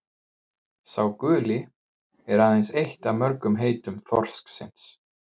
„sá guli“ er aðeins eitt af mörgum heitum þorsksins